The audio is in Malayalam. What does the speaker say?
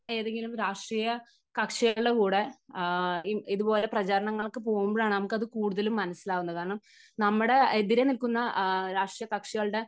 ഏതെങ്കിലും രാഷ്ട്രീയ കക്ഷികളുടെ കൂടെ ഇതുപോലെ പ്രചാരണങ്ങൾക്ക് പോകുമ്പോഴാണ് നമുക്ക് കൂടുതൽ മനസ്സിലാക്കുന്നത്. കാരണം നമ്മുടെ എതിരെ നിൽക്കുന്ന രാഷ്ട്രീയ കക്ഷികളുടെ